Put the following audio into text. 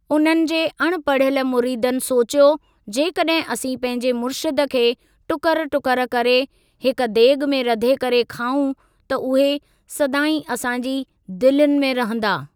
उननि जे अणपढ़ियलु मुरीदनि सोचियो जेकॾहिं असीं पंहिंजे मुर्शिद खे टुकर टुकर करे हिक देगि॒ में रधे करे खाऊं त उहे सदाईं असांजी दिलयुनि में रहंदा।